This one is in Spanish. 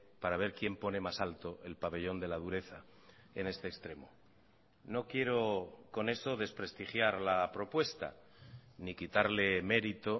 para ver quién pone más alto el pabellón de la dureza en este extremo no quiero con eso desprestigiar la propuesta ni quitarle mérito